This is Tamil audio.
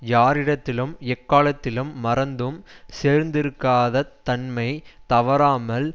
யாரிடத்திலும் எக்காலத்திலும் மறந்தும் சோர்ந்திருக்காதத் தன்மை தவறாமல்